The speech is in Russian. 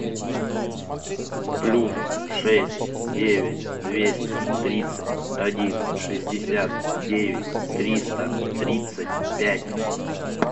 плюс шесть девять двести тридцать один шестьдесят девять триста тридцать пять